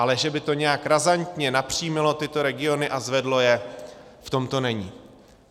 Ale že by to nějak razantně napřímilo tyto regiony a zvedlo je, v tom to není.